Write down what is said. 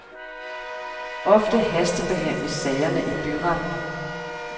Ofte hastebehandles sagerne i byretten.